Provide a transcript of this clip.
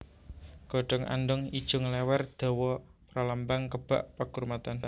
Godhong andhong ijo nglèwèr dawa pralambang kebak pakurmatan